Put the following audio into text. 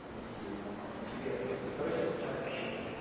сбер который сейчас час в варшаве